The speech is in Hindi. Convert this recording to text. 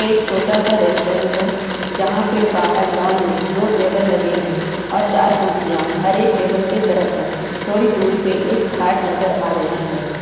एक छोटा सा रेस्टोरेंट है जहाँ पर बाहर लॉन में दो टेबल लगे हैं और चार कुर्सियां हर एक टेबल के तरफ है थोड़ी दूर पर एक खाट नज़र आ रही है।